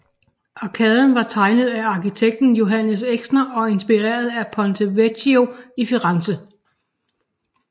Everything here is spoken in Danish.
Arkaden var tegnet af arkitekten Johannes Exner og inspireret af Ponte Vecchio i Firenze